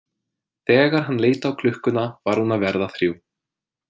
Þegar hann leit á klukkuna var hún að verða þrjú.